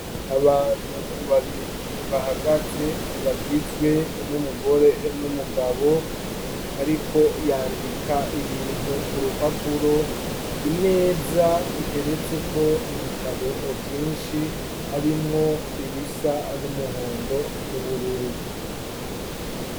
Abantu babiri bahagaze bagizwe n'umugore n'umugabo ariko yandika ibintu ku rupapuro imeza iteretseko ibitabo vyinshi harimwo ibisa n'umuhondo n'ubururu.